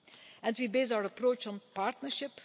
And we base our approach on partnership.